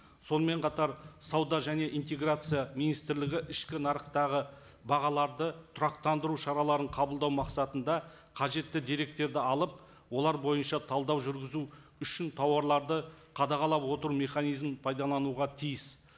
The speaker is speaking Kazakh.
сонымен қатар сауда және интеграция министрлігі ішкі нарықтағы бағаларды тұрақтандыру шараларын қабылдау мақсатында қажетті деректерді алып олар бойынша талдау жүргізу үшін тауарларды қадағалап отыру механизмін пайдалануға тиіс